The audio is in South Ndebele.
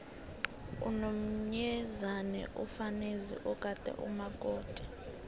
unomyezane mfazi ogada umakoti